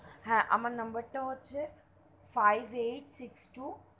হা আমার নম্বর তা হচ্ছে, five eight six two,